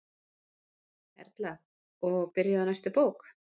Erla: Og byrjuð á næstu bók?